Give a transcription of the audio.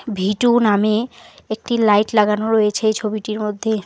ভীটু নামে একটি লাইট লাগানো রয়েছে এই ছবিটির মধ্যে।